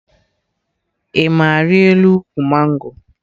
Ị ma arịa elu ụkwụ mango?